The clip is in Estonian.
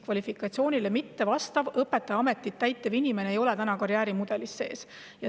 Kvalifikatsioonile mittevastav õpetaja ametit täitev inimene ei ole praegu karjäärimudelis sees.